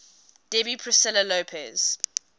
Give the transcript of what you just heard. debbie priscilla lopez